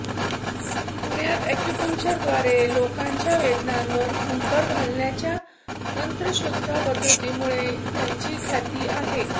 पुण्यात ऍक्युपंक्चरद्वारे लोकांच्या वेदनांवर फुंकर घालण्याच्या तंत्रशुद्ध पद्धतीमुळे त्यांची ख्याती आहे